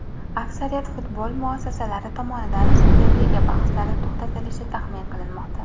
Aksariyat futbol mutaxassislari tomonidan Superliga bahslari to‘xtatilishi taxmin qilinmoqda.